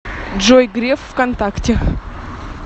джой греф в контакте